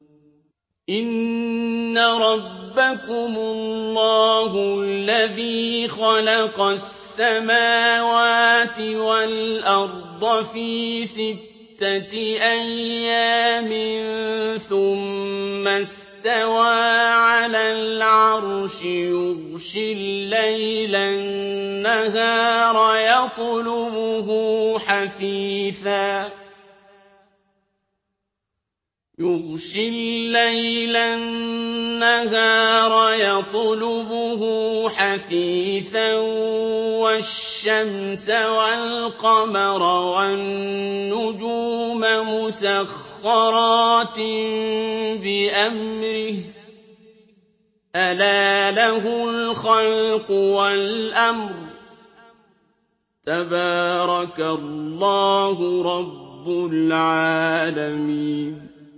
إِنَّ رَبَّكُمُ اللَّهُ الَّذِي خَلَقَ السَّمَاوَاتِ وَالْأَرْضَ فِي سِتَّةِ أَيَّامٍ ثُمَّ اسْتَوَىٰ عَلَى الْعَرْشِ يُغْشِي اللَّيْلَ النَّهَارَ يَطْلُبُهُ حَثِيثًا وَالشَّمْسَ وَالْقَمَرَ وَالنُّجُومَ مُسَخَّرَاتٍ بِأَمْرِهِ ۗ أَلَا لَهُ الْخَلْقُ وَالْأَمْرُ ۗ تَبَارَكَ اللَّهُ رَبُّ الْعَالَمِينَ